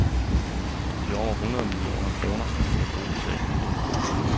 De over hundrede millioner kroner kunne bruges til at bygge en bro.